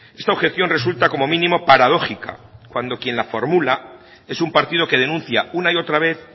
esta objeción resulta como mínimo paradójica cuando quien la formula es un partido que denuncia una y otra vez